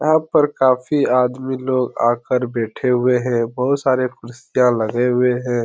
यहाँ पर काफी आदमी लोग आकर बैठे हुए हैं। बहुत सारे कुर्सियां लगे हुए हैं।